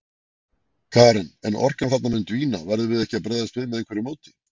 Karen: En orkan þarna mun dvína, verðum við ekki að bregðast við með einhverju móti?